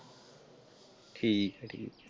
ਠੀਕ ਹੈ ਜੀ।